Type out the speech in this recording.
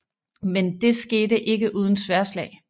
Men det skete ikke uden sværdslag